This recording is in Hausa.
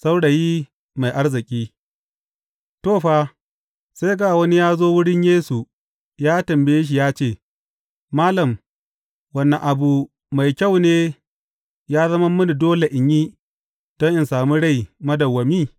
Saurayi mai arziki To, fa, sai ga wani ya zo wurin Yesu ya tambaye shi ya ce, Malam, wane abu mai kyau ne ya zama mini dole in yi don in sami rai madawwami?